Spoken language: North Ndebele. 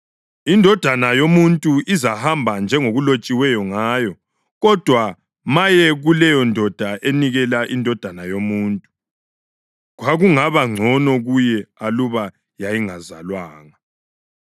Indodana yoMuntu izahamba njengokulotshiweyo ngayo. Kodwa maye kuleyondoda enikela iNdodana yoMuntu! Kwakungaba ngcono kuyo aluba yayingazalwanga.”